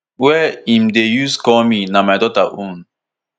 wey im dey use call me na my daughter own